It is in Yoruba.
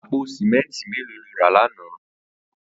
Àpó sìmẹntí méló ló rà làná?